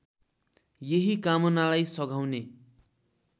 यही कामनालाई सघाउने